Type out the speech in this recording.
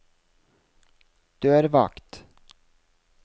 dørvakt